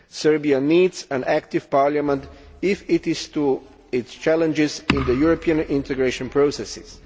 Serbia needs an active parliament if it is to meet its challenges in the European integration processes.